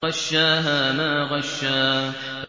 فَغَشَّاهَا مَا غَشَّىٰ